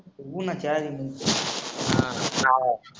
बोल ना काय